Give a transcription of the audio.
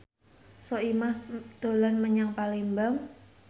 Soimah dolan menyang Palembang